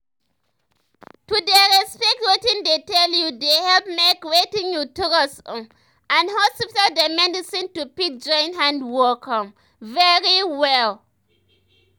to dey respect wetin dey tell you dey help make wetin you trust um and hospital dem medicine to fit join hand work um very um well.